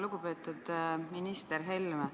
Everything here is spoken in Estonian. Lugupeetud minister Helme!